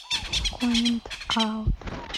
в коммент аут